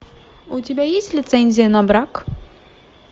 у тебя есть лицензия на брак